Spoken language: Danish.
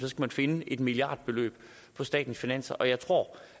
man finde et milliardbeløb på statens finanser og jeg tror